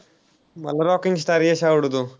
मला rocking star Yash आवडतो.